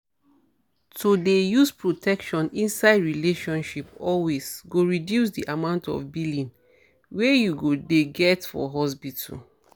to dey use protection inside relationship always go reduce di amount of billing wey you go dey get for hospital